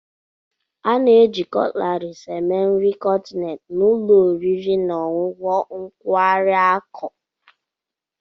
A na-eji Cutlaris eme nri kọntinent na ụlọ oriri na ọṅụṅụ nkwari akụ.